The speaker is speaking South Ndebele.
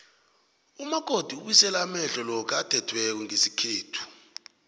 umakoti ubuyisela amehlo lokha athethweko ngesikhethu